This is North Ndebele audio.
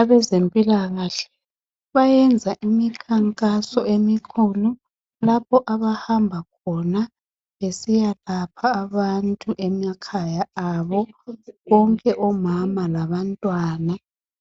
Abezempilakahle bayenza imikhankaso emikhulu lapho abahamba khona besiyalapha abantu emakhaya abo bonke omama labantwana